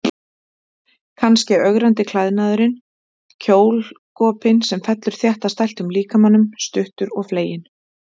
Kannski ögrandi klæðnaðurinn, kjólgopinn sem fellur þétt að stæltum líkamanum, stuttur og fleginn.